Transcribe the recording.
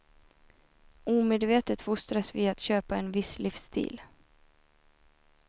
Omedvetet fostras vi att köpa en viss livsstil.